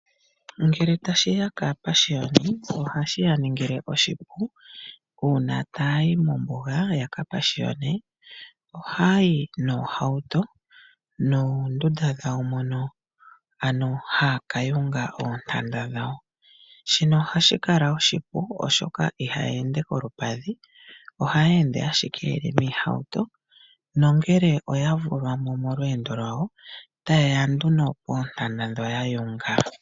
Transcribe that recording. Ngele tashiya kaapashiyoni ohashiya ningile oshipu uuna ta ya yi mombuga yakapashiyone. Oha yayi noohawuto noondunda dhawo mono ano haya ka yunga oontanda dhawo shino ohashi kala oshipu, oshoka ihaya ende kolupadhi ohaya ende ashike yeli miihawuto nongele oya vulwa mo molweendo lwawo teyeya nduno koontanda dhono yayunga.